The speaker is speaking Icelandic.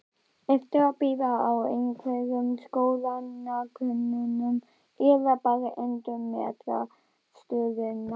Ertu að bíða eftir einhverjum skoðanakönnunum eða bara endurmeta stöðuna?